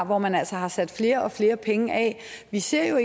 hvor man altså har sat flere og flere penge af vi ser jo